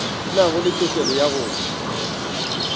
nago le tokelo ya go